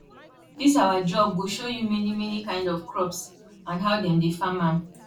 dis awa job go show you many many kind of crops and how dem dey farm am